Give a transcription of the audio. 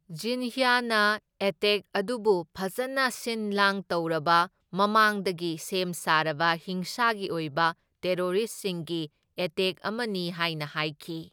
ꯖꯤꯟꯍ꯭ꯌꯥꯅ attack ꯑꯗꯨꯕꯨ ꯐꯖꯅ ꯁꯤꯟꯂꯥꯡ ꯇꯧꯔꯕ, ꯃꯃꯥꯡꯗꯒꯤ ꯁꯦꯝꯁꯥꯔꯕ ꯍꯤꯡꯁꯥꯒꯤ ꯑꯣꯢꯕ ꯇꯦꯔꯣꯔꯤꯁꯁꯤꯡꯒꯤ ꯑꯦꯇꯦꯛ ꯑꯃꯅꯤ ꯍꯥꯢꯅ ꯍꯥꯢꯈꯤ꯫